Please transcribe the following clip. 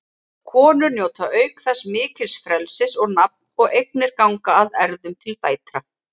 Konur njóta auk þess mikils frelsis og nafn og eignir ganga að erfðum til dætra.